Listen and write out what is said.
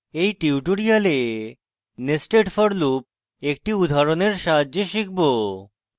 in tutorial nested for loop একটি উদাহরণের সাহায্যে শিখব